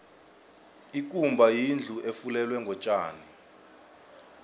ikumba yindlu efulelwe ngotjani